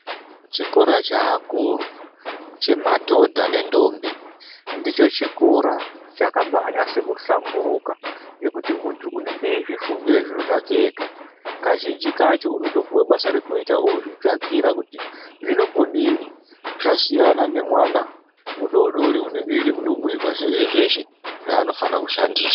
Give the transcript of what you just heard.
Chikora cheakuru chemadhodha nendombi ndicho chikora chakanase kuhlamburuka ngekuti muntu munenge eizvifungire zviro zvake ega , kazhinji kacho unotopuwe mabasa rekuita ozvitsvakira kuti zvinombodini zvasiyana nemwana mudodori unenge Ida kundobhiirwa zveshe zveshe zvaanofane kushandisa